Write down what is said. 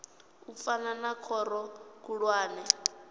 u fana na khoro khulwane